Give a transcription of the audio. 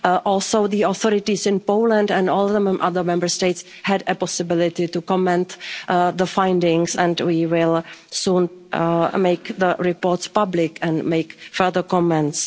Also the authorities in Poland and all the other Member States had a possibility to comment on the findings and we will soon make the reports public and make further comments.